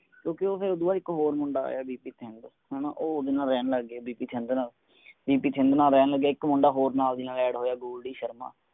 ਕਿਉਂਕਿ ਉਹ ਫੇਰ ਉਸਤੋਂ ਬਾਅਦ ਇਕ ਹੋਰ ਮੁੰਡਾ ਆਯਾ ਬੀ ਪੀ ਚਿੰਦ ਹਣਾ ਉਹ ਓਹਦੇ ਨਾਲ ਰਹਿਣ ਲੱਗ ਗਯਾ ਬੀ ਪੀ ਚਿੰਦ ਨਾਲ ਬੀ ਪੀ ਚਿੰਦ ਨਾਲ ਰਹਿਣ ਲਗ ਗਯਾ ਫੇਰ ਇਕ ਮੁੰਡਾ ਹੋਰ ਨਾਲ ਦੀ ਨਾਲ add ਹੋਇਆ ਗੋਲਡੀ ਸ਼ਰਮਾ